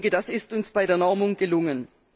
Das ist uns bei der Normung gelungen.